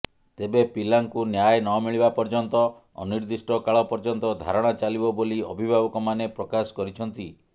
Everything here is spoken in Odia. ତେବେ ପିଲାଙ୍କୁ ନ୍ୟାୟ ନମିଳିବା ପର୍ଯ୍ୟନ୍ତ ଅନିର୍ଦ୍ଦିଷ୍ଟକାଳ ପର୍ଯ୍ୟନ୍ତ ଧାରଣା ଚାଲିବ ବୋଲି ଅଭିଭାବକମାନେ ପ୍ରକାଶ କରିଛନ୍ତି